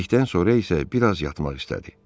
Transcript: Yedikdən sonra isə bir az yatmaq istədi.